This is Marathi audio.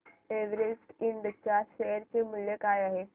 एव्हरेस्ट इंड च्या शेअर चे मूल्य काय आहे